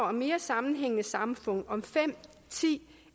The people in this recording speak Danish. og mere sammenhængende samfund om fem ti